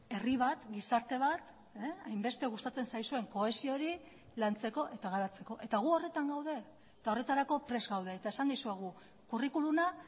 herri bat gizarte bat hainbeste gustatzen zaizuen kohesio hori lantzeko eta garatzeko eta gu horretan gaude eta horretarako prest gaude eta esan dizuegu curriculuma